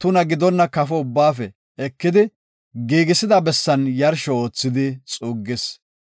tuna gidonna kafo ubbaafe ekidi, giigisida bessan yarsho oothidi xuuggis.